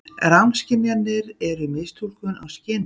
Rangskynjanir eru mistúlkun á skynhrifum.